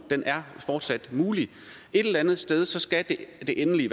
fortsat er muligt et eller andet sted skal det endelige